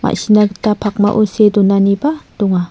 ma·sina gita pakmao see donaniba donga.